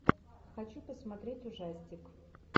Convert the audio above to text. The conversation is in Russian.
хочу посмотреть ужастик